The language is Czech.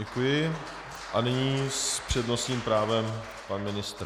Děkuji a nyní s přednostním právem pan ministr.